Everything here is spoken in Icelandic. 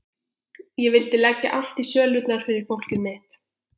Ég vildi leggja allt í sölurnar fyrir fólkið mitt.